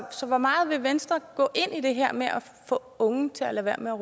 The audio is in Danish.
så hvor meget vil venstre gå ind i det her med at få unge til at lade